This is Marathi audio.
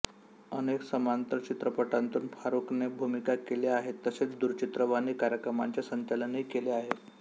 अनेक समांतर चित्रपटांतून फारूकने भूमिका केल्या आहेत तसेच दूरचित्रवाणी कार्यक्रमांचे संचालनही केले आहे